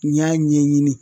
N y'a ɲɛɲini